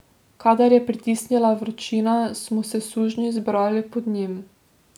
Kadar je pritisnila vročina, smo se sužnji zbirali pod njim.